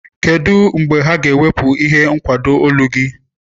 Kedu mgbe ha ga-ewepụ ihe nkwado olu gị?